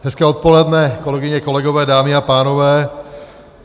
Hezké odpoledne, kolegyně, kolegové, dámy a pánové.